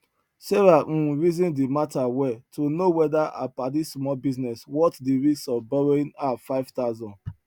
sarah um reason di matter well to know whether her padi small business worth di risk of borrowing her five thousand